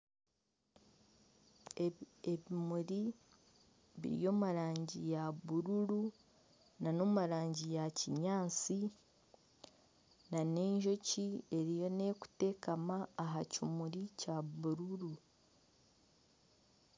Ebimuri biri omu rangi ya bururu nana omu rangi ya kinyaatsi nana ejooki eriyo neeza kuteekama aka kimuri kya bururu